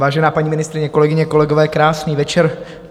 Vážená paní ministryně, kolegyně kolegové, krásný večer.